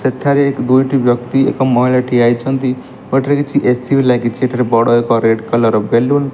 ସେଠାରେ ଦୁଇଟି ବ୍ୟକ୍ତି ଏକ ମହିଳା ଠିଆ ହେଇଚନ୍ତି ଓ ଏଠାରେ କିଛି ଏ_ସି ବି ଲାଗିଚି ଏଠାରେ ବଡ଼ ଏକ ରେଡ୍ କଲର୍ ବେଲୁନ ।